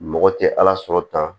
Mɔgɔ tɛ ala sɔrɔ tan